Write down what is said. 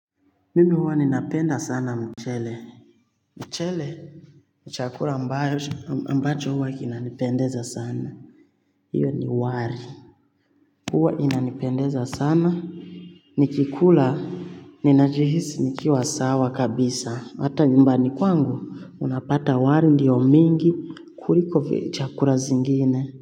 Mimi huwa ninapenda sana mchele mchele chakula ambacho huwa kinanipendeza sana hiyo ni wali huwa inanipendeza sana nikikula ninajihisi nikiwa sawa kabisa hata nyumbani kwangu unapata wali ndiyo mingi kuliko chakula zingine.